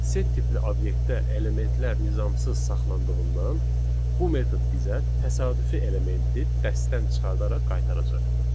Set tipli obyektdə elementlər nizamsız saxlandığından, bu metod bizə təsadüfi elementi dəstdən çıxardaraq qaytaracaq.